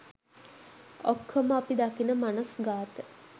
ඔක්කොම අපි දකින මනස්ගාත